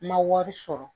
Ma wari sɔrɔ